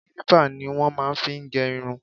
Kílípà ni wọ́n máa fi ń gẹ irun